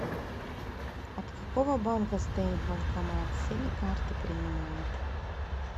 от какого банка стоит банкомат все ли карты принимает